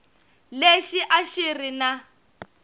lexi a xi ri na